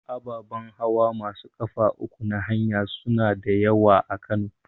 Ababan hawa masu ƙafa uku na haya suna da yawa a Kano.